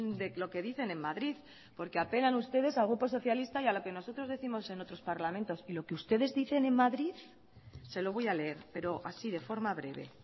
de lo que dicen en madrid porque apelan ustedes al grupo socialista y a lo que nosotros décimos en otros parlamentos y lo que ustedes dicen en madrid se lo voy a leer pero así de forma breve